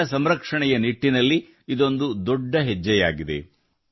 ಜಲ ಸಂರಕ್ಷಣೆಯ ನಿಟ್ಟಿನಲ್ಲಿ ಇದೊಂದು ದೊಡ್ಡ ಹೆಜ್ಜೆಯಾಗಿದೆ